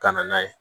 Ka na n'a ye